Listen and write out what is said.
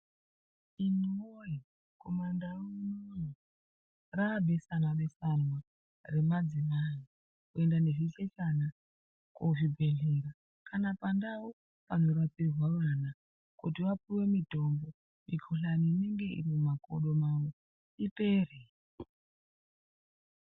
Imwi woye kumandau unono rabeswanwabeswanwa remadzimai kuenda nezvichechana kuzvibhehlera kana pandau panorapirwe vana kuti vapuwe mutombo mukuhlani inenge iri mumakodo mwavo ipere.